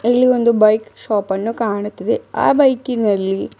ಇಲ್ಲಿ ಒಂದು ಬೈಕ್ ಶಾಪನ್ನು ಕಾಣುತ್ತಿದೆ ಆ ಬೈಕಿನಲ್ಲಿ--